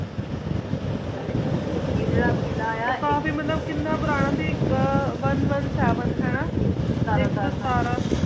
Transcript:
ਆਚਾ ਆਚਾ ਨਾਲੀ ਇਹ ਜ਼ੀਰ ਕੀਨਾ ਆਯ ਆ ਕਾਫੀ ਮਤਲਬ ਕੀਨਾ ਪੁਰਾਣਾ ਸੀ ਓਨੇ ਓਨੇ ਸੇਵੇਨ ਹਾਨਾ ਏਇਕ ਸੋ ਸਤਰਾਂ ਸਾਲ ਹਾਂਜੀ ਏਇਕ ਸੋ ਸਤਰਾਂ